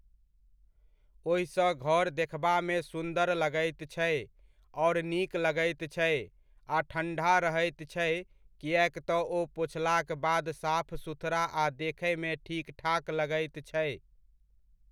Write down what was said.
ओहिसँ घर देखबामे सुन्दर लगैत छै आओर नीक लगैत छै, आ ठण्डा रहैत छै किएक तऽ ओ पोछलाक बाद साफ सुथड़ा आ देखयमे ठीकठाक लगैत छै।